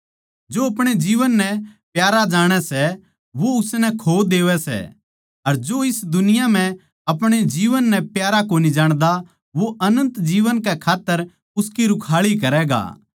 जो अपणे जीवन नै प्यारा जाणै सै वो उसनै खो देवै सै अर जो इस दुनिया म्ह अपणे जीवन नै प्यारा कोनी जाण्दा वो अनन्त जीवन कै खात्तर उसकी रूखाळी करैगा